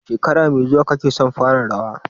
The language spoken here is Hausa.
Shekara mai zuwa kake son fara rawa?